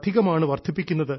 ഇതാണ് സ്വയംപര്യാപ്തത